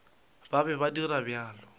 ba be ba dira bjalo